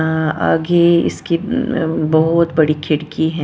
अ आगे इसकी अम बहुत बड़ी खिड़की है ।